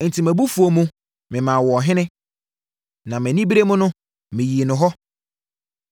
Enti mʼabufuo mu, memaa wo ɔhene, na mʼanibereɛ mu no, meyii no hɔ.